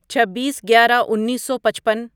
چھبیس گیارہ انیسو پچپن